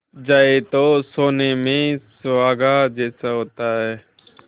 जाए तो सोने में सुहागा जैसा होता है